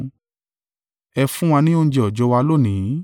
Ẹ fún wa ní oúnjẹ òòjọ́ wa lónìí.